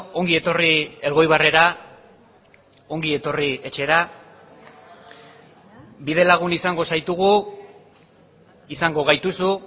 ongi etorri elgoibarrera ongi etorri etxera bidelagun izango zaitugu izango gaituzu